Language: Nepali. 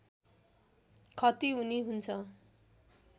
खती हुने हुन्छ